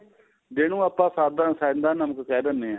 ਜਿਹਨੂੰ ਆਪਾਂ ਸਾਦਾ ਸਹਿਦਾਂ ਨਮਕ ਕਹਿ ਦਿੰਨੇ ਆਂ